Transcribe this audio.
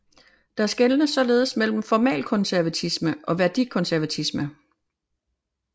Der skelnes således mellem formalkonservatisme og værdikonservatisme